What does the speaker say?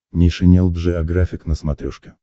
нейшенел джеографик на смотрешке